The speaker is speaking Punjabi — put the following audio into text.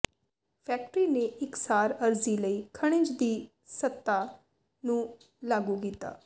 ਫੈਕਟਰੀ ਨੇ ਇਕਸਾਰ ਅਰਜ਼ੀ ਲਈ ਖਣਿਜ ਦੀ ਸਤ੍ਹਾ ਨੂੰ ਲਾਗੂ ਕੀਤਾ